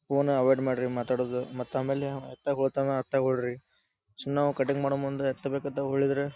ಫೋನ್ನ ಅವಾಯ್ಡ್ ಮಾಡ್ರಿ ಮಾತಾಡೋದು ಮತ್ತ್ ಆಮೇಲ್ ಯಾಂ ಎತ್ತಗ್ ಹೋತಂದ್ರ ಅತ್ತ ಹೊರ್ಡ್ರಿ ಸುಮ್ನ ನಾವು ಕಟಿಂಗ್ ಮಾಡೋ ಮುಂದ ಎತ್ತ ಬೇಕಂತ ಹೋಳಿದ್ರೆ --